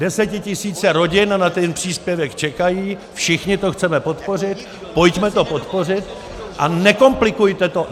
Desetitisíce rodin na ten příspěvek čekají, všichni to chceme podpořit, pojďme to podpořit a nekomplikujte to!